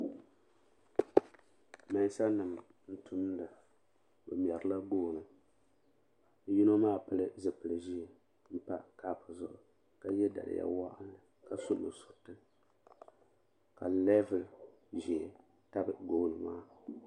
Meensa nima n tumda bɛ mɛrila gooni yino maa pili zipili ʒee m pa kapu zuɣu ka ye daliya woɣinli ka su nusuriti ka leebuli ʒee tabi gooni maa.